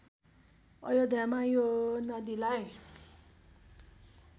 अयोध्यामा यो नदीलाई